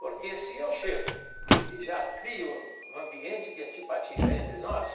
Porque, se eu chego e já crio um ambiente de antipatia entre nós,